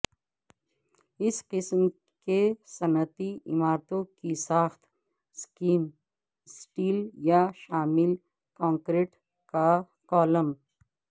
اس قسم کے صنعتی عمارتوں کی ساخت سکیم سٹیل یا شامل کنکریٹ کالم